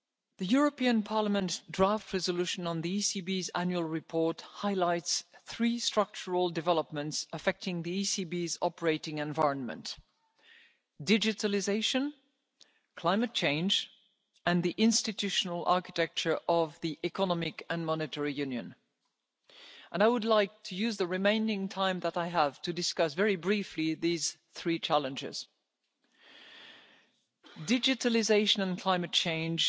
The European Parliament's draft resolution on the ECB's Annual Report highlights three structural developments affecting the ECB's operating environment digitalisation, climate change and the institutional architecture of Economic and Monetary Union. I would like to use the remaining time that I have to discuss very briefly these three challenges. Digitalisation and climate